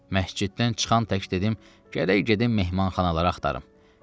Məsciddən çıxan tək dedim gərək gedim mehmanxanaları axtarım.